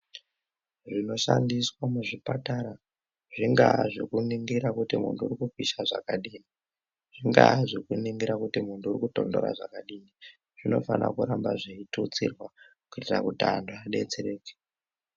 Zvinoshandiswa muzvipatara zvingaa zvekuningira kuti muntu uri kupisha zvakadini zvingaa zvekuti muntu uri kutonhora zvakadini zvinofanira kuramba zveitutsirwa kuitira kuti antu adetsereke.